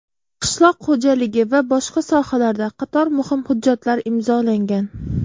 qishloq xo‘jaligi va boshqa sohalarda qator muhim hujjatlar imzolangan.